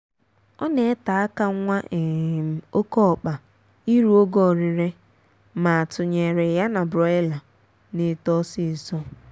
ọ na ete aka nwa um oké ọkpa iru ogo orire ma a tụnyere ya na broiler na-eto ọsịịsọ